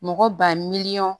Mɔgɔ ba miliyɔn